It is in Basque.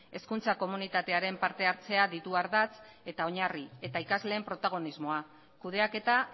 hezkuntza komunitatearen partehartzea ditu ardatz eta oinarri eta ikasleen protagonismoa kudeaketa